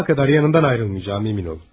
Sabaha kadar yanımdan ayrılmayacağım emin olun.